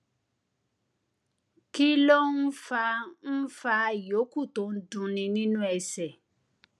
kí ló ń fa ń fa ìyókù tó ń dunni nínú ẹsè